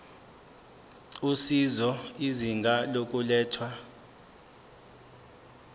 usizo izinga lokulethwa